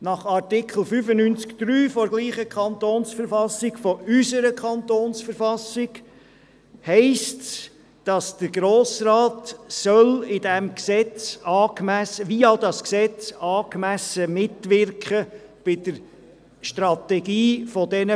In Artikel 95 Absatz 3 derselben KV – unserer KV – steht, dass der Grosse Rat via dieses Gesetz an der Strategie dieser Beteiligungen angemessen mitwirken soll.